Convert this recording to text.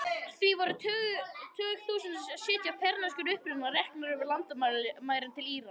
Því voru tugþúsundir sjíta af persneskum uppruna reknar yfir landamærin til Írans.